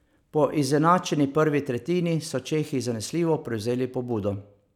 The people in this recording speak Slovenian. Po izenačeni prvi tretjini so čehi zanesljivo prevzeli pobudo.